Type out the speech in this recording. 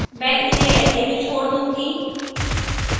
मैं इसे ऐसे ही छोड़ दूंगी